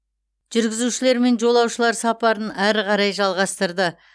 жүргізушілер мен жолаушылар сапарын әрі қарай жалғастырды